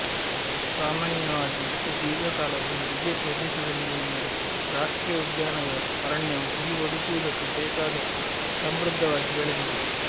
ಸಾಮಾನ್ಯವಾಗಿ ಇಷ್ಟು ದೀರ್ಘ ಕಾಲ ಹುಲಿ ಇದೇ ಪ್ರದೇಶದಲ್ಲಿದೆಯೆಂದರೆ ರಾಷ್ಟ್ರೀಯ ಉದ್ಯಾನದ ಅರಣ್ಯವು ಹುಲಿ ಬದುಕುವುದಕ್ಕೆ ಬೇಕಾದಷ್ಟು ಸಮೃದ್ಧವಾಗಿ ಬೆಳೆದಿದೆ